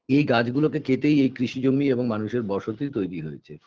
এই গাছগুলোকে কেটেই এই কৃষিজমি এবং মানুষের বসতি তৈরি হয়েছে